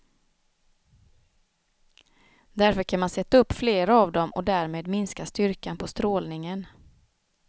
Därför kan man sätta upp fler av dem och därmed minska styrkan på strålningen.